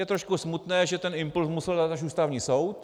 Je trošku smutné, že ten impulz musel dát až Ústavní soud.